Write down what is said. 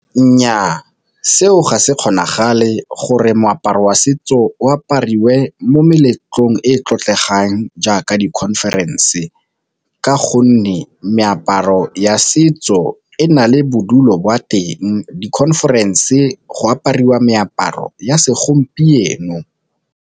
Nnyaa, seo ga se kgonagale gore moaparo wa setso o apariwe mo meletlong e e tlotlegang jaaka di-conference, ka gonne meaparo ya setso e na le bodulo teng di-conference go apariwa meaparo ya segompieno.